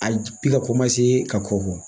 A i ka ka kɔkɔ bɔ